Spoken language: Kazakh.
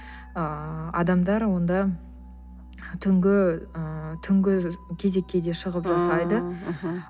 ыыы адамдар онда түнгі ы түнгі кезекке де шығып жасайды ааа мхм